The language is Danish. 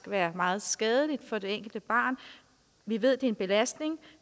være meget skadeligt for det enkelte barn vi ved det er en belastning